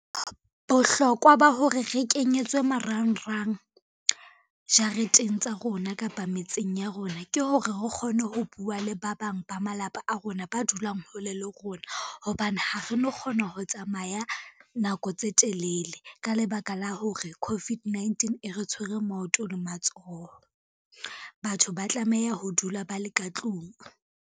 Bohlokwa ba hore re kenyetswe marangrang jareteng tsa rona kapa metseng ya rona, ke hore ho kgone ho bua le ba bang ba malapa a rona ba dulang hole le rona, hobane ha re no kgona ho tsamaya nako tse telele, ka lebaka la hore COVID-19 e re tshwere maoto le matsoho, batho ba tlameha ho dula ba le ka tlung.